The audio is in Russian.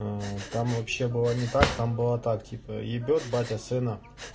аа там вообще было не так там было так типа ебет батя сына